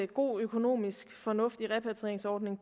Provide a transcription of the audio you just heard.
god økonomisk fornuft i en repatrieringsordning